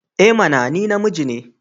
I mana! Ni namiji ne.